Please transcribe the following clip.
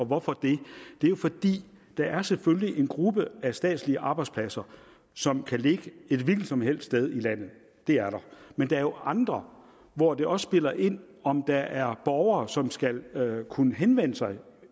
hvorfor det det er fordi der selvfølgelig er en gruppe af statslige arbejdspladser som kan ligge et hvilket som helst sted i landet det er der men der er jo andre hvor det også spiller ind om der er borgere som skal kunne henvende sig